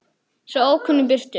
Hættu þessu þvaðri, Jakob.